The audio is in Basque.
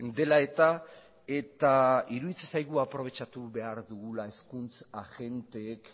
dela eta eta iruditzen zaigu aprobetxatu behar dugula hezkuntz agenteek